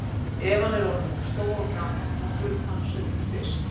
Ef hann er orðinn of stór og gamall má hluta hann sundur fyrst.